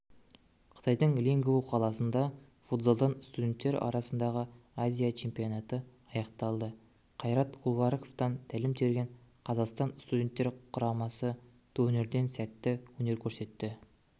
қытайдың лингву қаласында футзалдан студенттер арасындағы азия чемпионаты аяқталды кайрат кульбараковтан тәлім терген қазақстан студенттер құрамасы турнирде сәтті өнер көрсетті